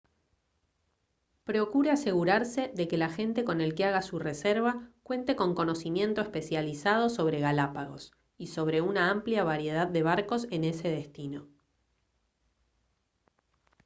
procure asegurarse de que el agente con el que haga su reserva cuente con conocimiento especializado sobre galápagos y sobre una amplia variedad de barcos en ese destino